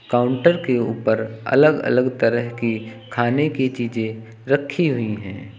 Counter के ऊपर अलग अलग तरह की खाने की चीजें रखी हुई हैं।